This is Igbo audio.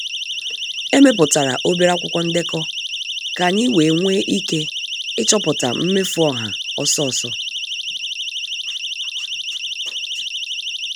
Emeputara obere akwụkwọ ndekọ ka anyị wee nwee ike ịchọpụta mmefu ọha ọsọ ọsọ.